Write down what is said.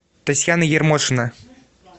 татьяна ермошина